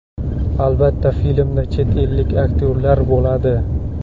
Albatta, filmda chet ellik aktyorlar bo‘ladi.